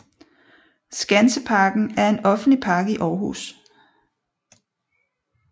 Skanseparken er en offentlig park i Aarhus